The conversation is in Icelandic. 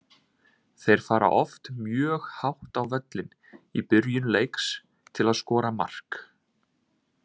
Þeir fara oft mjög hátt á völlinn í byrjun leiks til að skora mark.